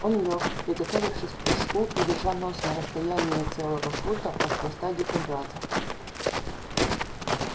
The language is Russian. он лёг приготовившись к прыжку и держа нос на расстоянии целого фута от хвоста дикобраза